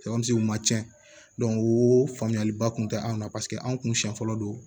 cɛn o faamuyaliba kun tɛ anw na paseke anw kun siɲɛ fɔlɔ don